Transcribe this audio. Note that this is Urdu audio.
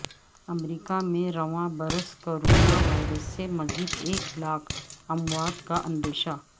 امریکہ میں رواں برس کرونا وائرس سے مزید ایک لاکھ اموات کا اندیشہ